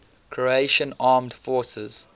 croatian armed forces